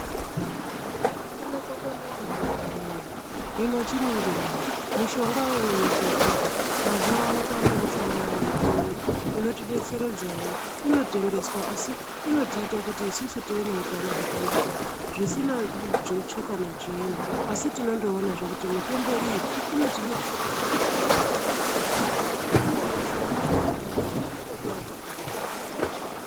Kufunda kwakanaka hama voye hino chiningirai mishongayo yogadzirwa mazuva ano kwane mishonga yechiyungu inotibetseredzavo inotendeswa asi inotiita kuti isusu tive neutano hwakanaka. Zvisina nzwetsve kana chiini asi tinondoonazve kuti mitombo iyi inotibetseredza kuti tigare takashamburuka inokasira kushanda kwayona nechipimo chayo hachizi kushata.